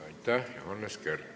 Aitäh, Johannes Kert!